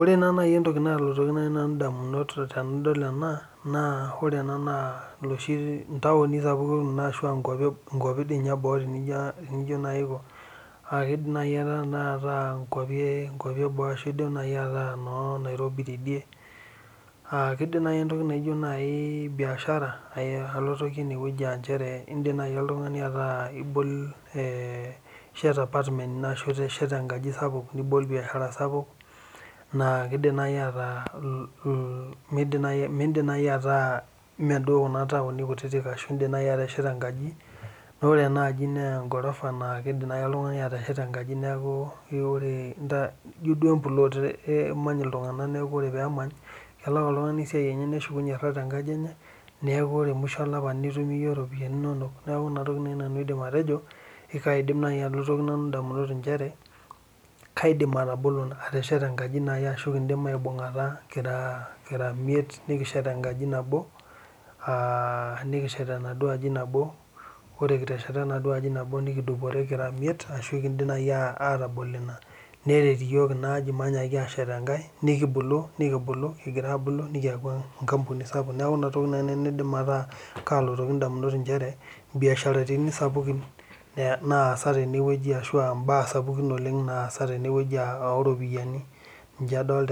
Ore nai entoki nalotoki ndamunot tanadol ena ore ena na ntaunu sapukin ashu nkwapi eboo nijo nai aankwapi eboo idim nai ataa nkwapi eboo anaa noonairobi na indim nai oltungani ayawa biashara ine neya oltungani ataa itesheta apartment nishet enkaji ino sapuk nibol biashara na kidim nai ataa mindim nai ataa meduo kuna tauni kutitik aa ore kuna namaa nkajijik naidim oltungani atesheta enkaji neaku ino duo emplot emany ltunganak ore dama nepuo siatin ore musho olapa nitum iyie ropiyani inonok neaku ina nai aidim atejo kaidim atesheta enkaji ashu ekindim aibungata kira aare ashu kira miet nikishet enaduo aji nabo nikiduporie kira miet atabol ina neret iyiol kingira ashet enkae nikibuku ambaka nikiaku enkampuni sapuk neaku inatoki nai nalotu ndamunot aa nchere mbiasharani sapukin naasa tenewueji ashu mbaa sapukin naasa tenewueji oropiyiani ninche adolta